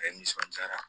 A nisɔndiyara